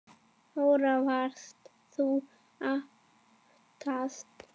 Þóra: Varst þú aftast?